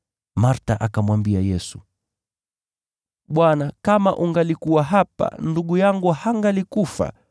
Martha akamwambia Yesu, “Bwana, kama ungalikuwa hapa, ndugu yangu hangalikufa.